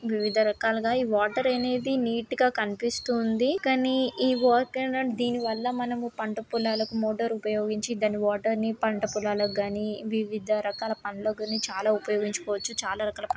వివిద రకాలుగా ఈ వాటర్ అనేది నీట్ గా అనిపిస్తూ ఉంది కానీ ఈ దీని వల్ల మనము పంట పొలాలకు మోటార్ ఉపయోగించి దాని వాటర్ ని పంట పొలాలగాని వివడా రకాల పనలుకి చాలా ఉపయోగించువచ్చు చాలా కాల --